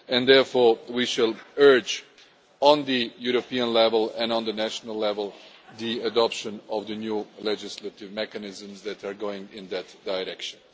Therefore, we shall urge, at European level and at national level, the adoption of the new legislative mechanisms that are tending in that direction.